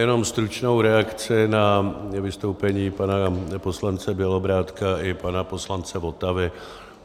Jenom stručnou reakci na vystoupení pana poslance Bělobrádka i pana poslance Votavy.